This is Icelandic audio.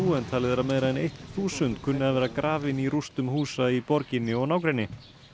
en talið er að meira en eitt þúsund kunni að vera grafin í rústum húsa í borginni og nágrenni